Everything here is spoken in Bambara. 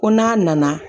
Ko n'a nana